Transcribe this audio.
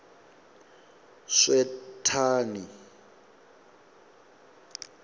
swethani